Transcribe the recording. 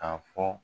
K'a fɔ